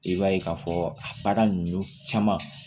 I b'a ye ka fɔ a baara nunnu caman